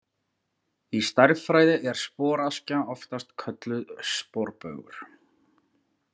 Í stærðfræði er sporaskja oftast kölluð sporbaugur.